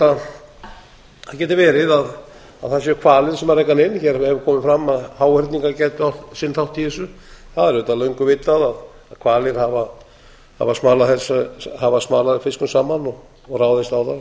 það geti verið að það séu hvalir sem reka hana inn hér hefur komið fram að háhyrningar gætu átt sinn þátt í þessu það er auðvitað löngu vitað að hvalir hafa smalað fiskum saman og ráðist